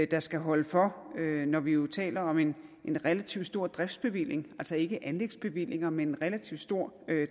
der skal holde for når vi jo taler om en relativt stor driftsbevilling altså ikke anlægsbevillinger men en relativt stor